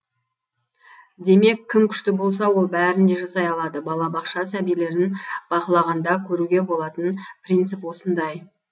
демек кім күшті болса ол бәрін де жасай алады балабақша сәбилерін бақылағанда көруге болатын принцип осындай